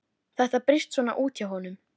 Þetta brýst svona út hjá honum.